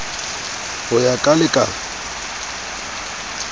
ho ya ka le ka